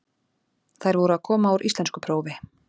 Þær voru að koma úr íslenskuprófi.